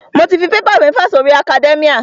Mo ti fi paper mẹ́fà si orí academia.